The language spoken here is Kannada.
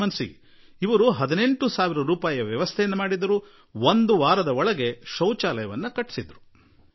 ಅವರು 18 ಸಾವಿರ ರೂಪಾಯಿಗಳಿಗೆ ವ್ಯವಸ್ಥೆ ಮಾಡಿದರು ಮತ್ತು ಒಂದು ವಾರದೊಳಗೆ ಶೌಚಾಲಯ ನಿರ್ಮಿಸಿಬಿಟ್ಟರು